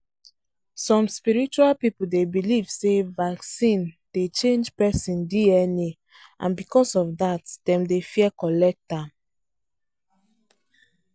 some spiritual people dey believe say vaccine dey change person DNa and bcos of that dem dey fear collect am.